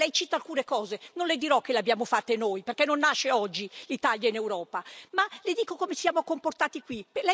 Allora, lei cita alcune cose, non le dirò che le abbiamo fatte noi, perché non nasce oggi l'Italia in Europa, ma le dico come ci siamo comportati qui.